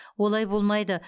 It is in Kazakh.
олай болмайды